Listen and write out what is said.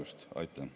Aitäh!